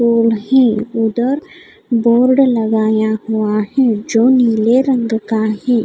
उधर डोर लगाया हुआ है जो नीले रंग का है.